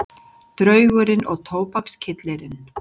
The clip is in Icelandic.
Draugurinn og tóbakskyllirinn